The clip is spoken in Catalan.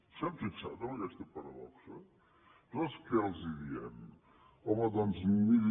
s’han fixat en aquesta paradoxa nosaltres què els diem home doncs miri